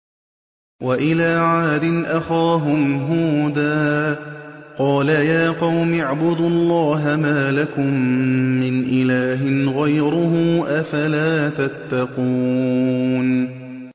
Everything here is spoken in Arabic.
۞ وَإِلَىٰ عَادٍ أَخَاهُمْ هُودًا ۗ قَالَ يَا قَوْمِ اعْبُدُوا اللَّهَ مَا لَكُم مِّنْ إِلَٰهٍ غَيْرُهُ ۚ أَفَلَا تَتَّقُونَ